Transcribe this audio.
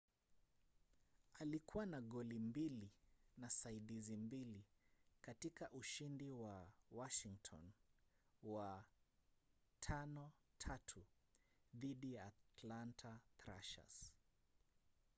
alikuwa na goli mbili na saidizi mbili katika ushindi wa washington wa 5-3 dhidi ya atlanta thrashers